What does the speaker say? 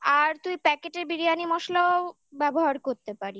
আর তুই packet biryani মসলাও ব্যবহার করতে পারিস